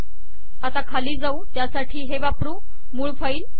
आता खाली जाऊ त्यासाठी हे वापरु मूळ फाईल